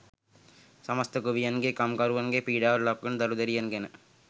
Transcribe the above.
සමස්ත ගොවියන්ගේ කම්කරුවන්ගේ පීඩාවට ලක්වන දරු දැරියන් ගැන